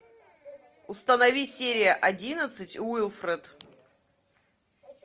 установи серия одиннадцать уилфред